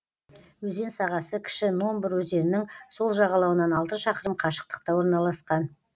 өзен сағасы кіші номбур өзенінің сол жағалауынан алты шақырым қашықтықта орналасқан